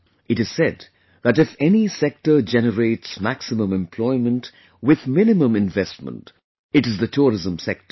It is said that if any sector generates maximum employment with minimum investment, it is the tourism sector